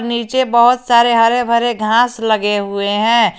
नीचे बहोत सारे हरे भरे घास लगे हुए हैं।